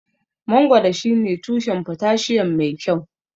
Mangoro shine tushen potassium mai kyau.